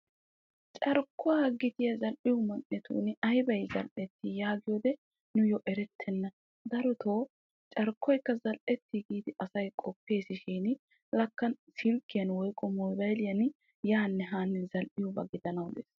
carkkuwa gittiya zal'ettiyo man'iyaani aybbay zal'ettii yaagiyoode nuyoo erettenna. daroyoo carkkoykka zal'ettii giidi asay qoppees shin lakka silkkiyan woykko moobaylliyan yaanne haanne zal'iyooba gidana des.